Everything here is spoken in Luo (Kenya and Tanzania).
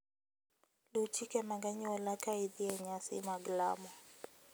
Luw chike mag anyuola ka idhi e nyasi mag lamo.